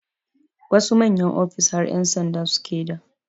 Wasu manyan ofis har ƴan sanda suke d